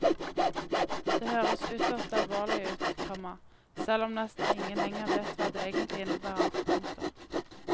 Det høres ytterst alvorlig ut, komma selv om nesten ingen lenger vet hva det egentlig innebærer. punktum